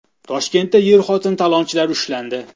Toshkentda er-xotin talonchilar ushlandi.